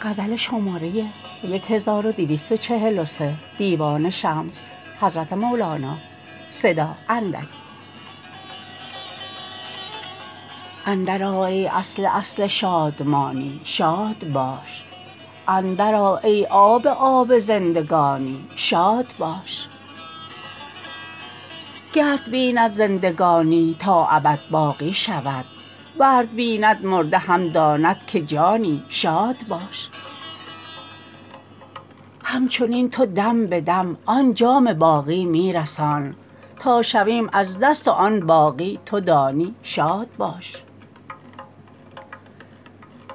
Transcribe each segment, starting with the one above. اندرآ ای اصل اصل شادمانی شاد باش اندرآ ای آب آب زندگانی شاد باش گرت بیند زندگانی تا ابد باقی شود ورت بیند مرده هم داند که جانی شاد باش همچنین تو دم به دم آن جام باقی می رسان تا شویم از دست و آن باقی تو دانی شاد باش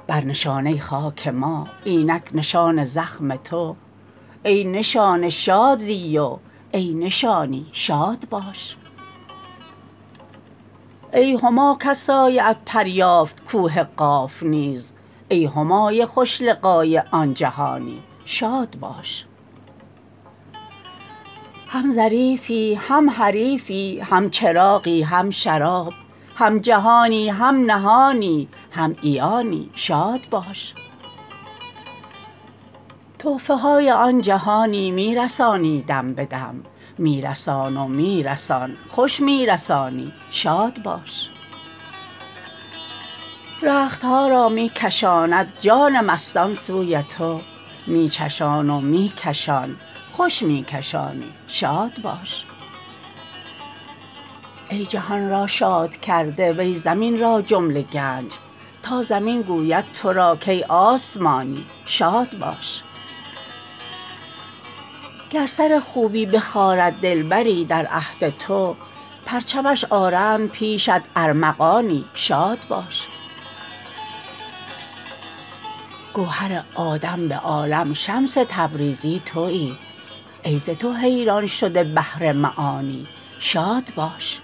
بر نشانه خاک ما اینک نشان زخم تو ای نشانه شاد زی و ای نشانی شاد باش ای هما کز سایه ات پر یافت کوه قاف نیز ای همای خوش لقای آن جهانی شاد باش هم ظریفی هم حریفی هم چراغی هم شراب هم جهانی هم نهانی هم عیانی شاد باش تحفه های آن جهانی می رسانی دم به دم می رسان و می رسان خوش می رسانی شاد باش رخت ها را می کشاند جان مستان سوی تو می چشان و می کشان خوش می کشانی شاد باش ای جهان را شاد کرده وی زمین را جمله گنج تا زمین گوید تو را کای آسمانی شاد باش گر سر خوبی بخارد دلبری در عهد تو پرچمش آرند پیشت ارمغانی شاد باش گوهر آدم به عالم شمس تبریزی توی ای ز تو حیران شده بحر معانی شاد باش